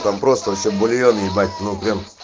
там просто вообще бульон ебать ну прям